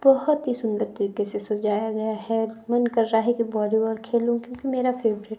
बहुत ही सुंदर तरीके से सजाया गया है मन कर रहा है कि वॉलीबॉल खेलूं क्योंकि मेरा फेवरेट --